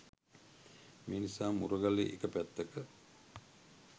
මේ නිසා මුරගලේ එක පැත්තක